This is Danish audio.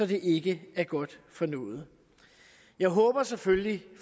det ikke er godt for noget jeg håber selvfølgelig